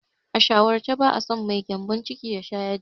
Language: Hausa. A shawarce, ba'a so mai gyambon ciki ya sha yaji.